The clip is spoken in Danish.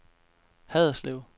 Haderslev